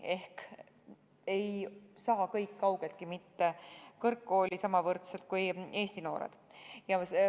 Seega ei saa neist kaugeltki mitte kõik kõrgkooli sama võrdselt kui eesti noored.